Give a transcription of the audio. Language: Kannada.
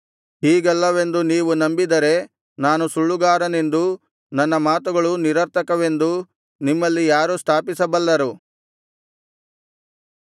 ಹೀಗಲ್ಲವೆಂದು ನೀವು ನಂಬಿದರೆ ನಾನು ಸುಳ್ಳುಗಾರನೆಂದೂ ನನ್ನ ಮಾತುಗಳು ನಿರರ್ಥಕವೆಂದೂ ನಿಮ್ಮಲ್ಲಿ ಯಾರು ಸ್ಥಾಪಿಸಬಲ್ಲರು